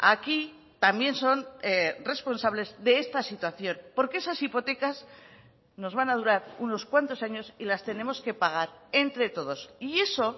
aquí también son responsables de esta situación porque esas hipotecas nos van a durar unos cuantos años y las tenemos que pagar entre todos y eso